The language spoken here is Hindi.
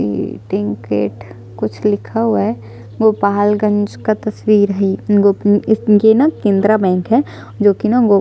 सिंडिकेट कुछ लिखा हुआ है गोपालगंज का तस्वीर है गो उम्म इस ये न केंद्रा बैंक है जो कि न गो --